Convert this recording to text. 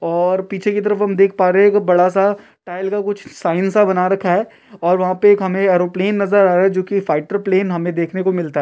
और पीछे की तरफ हम देख पा रहे हैं की एक बड़ा सा टाइल का कुछ साइन सा बना रखा है और वहाँ पे हमें एक एयरोप्लेन नज़र आ रहा है जोकि फाइटर प्लेन हमे देखने को मिलता है।